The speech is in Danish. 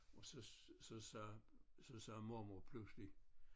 Og så så sagde så sagde mormor pludselig